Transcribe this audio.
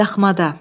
Daxmada.